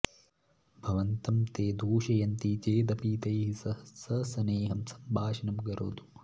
भवन्तं ते दूषयन्ति चेदपि तैः सह सस्नेहं सम्भाषणं करोतु